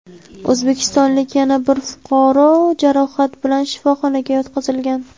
O‘zbekistonlik yana bir fuqaro jarohat bilan shifoxonaga yotqizilgan.